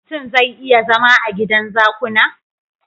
Mutun zai iya zama a gidan zakuna?